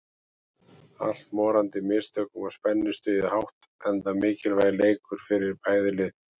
Allt morandi í mistökum og spennustigið hátt enda mikilvægur leikir fyrir bæði lið.